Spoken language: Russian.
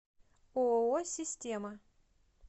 ооо система